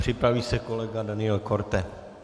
Připraví se kolega Daniel Korte.